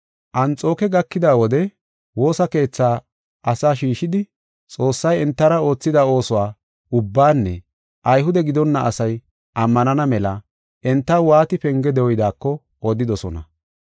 Anxooke gakida wode woosa keethaa asaa shiishidi Xoossay entara oothida oosuwa ubbaanne Ayhude gidonna asay ammanana mela entaw waati penge dooyidaako odidosona.